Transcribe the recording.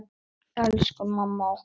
Elsku mamma okkar.